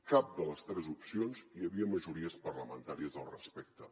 cap de les tres opcions hi havia majories parlamentàries al respecte